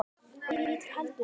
og hvítur heldur velli.